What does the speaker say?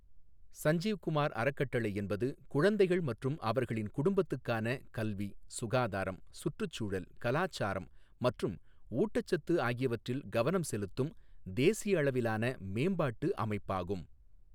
சஞ்சீவ் குமார் அறக்கட்டளை என்பது குழந்தைகள் மற்றும் அவர்களின் குடும்பத்துக்கான கல்வி, சுகாதாரம், சுற்றுச்சூழல், கலாச்சாரம் மற்றும் ஊட்டச்சத்து ஆகியவற்றில் கவனம் செலுத்தும் தேசிய அளவிலான மேம்பாட்டு அமைப்பாகும்.